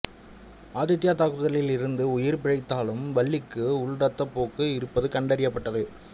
ஆதித்யா தாக்குதலில் இருந்து உயிர் பிழைத்தாலும் வள்ளிக்கு உள் இரத்தப்போக்கு இருப்பது கண்டறியப்பட்டது